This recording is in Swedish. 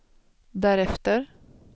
därefter